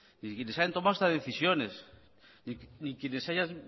ni quienes hayan tomado estas decisiones ni quienes se hayan